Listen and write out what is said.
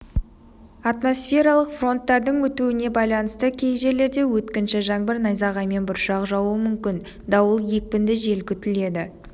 атмосфералық фронттардың өтуіне байланысты кей жерлерде өткінші жаңбыр найзағаймен бұршақ жаууы мүмкін дауыл екпінді жел күтіледі